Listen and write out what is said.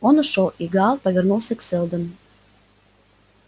он ушёл и гаал повернулся к сэлдону